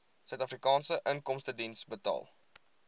suidafrikaanse inkomstediens betaal